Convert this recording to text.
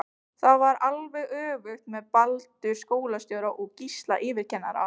Það var alveg öfugt með Baldur skólastjóra og Gísla yfirkennara.